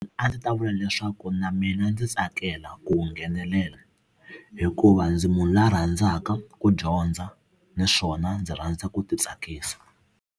A ndzi ta vula leswaku na mina ndzi tsakela ku nghenelela hikuva ndzi munhu loyi a rhandzaka ku dyondza naswona ndzi rhandza ku ti tsakisa.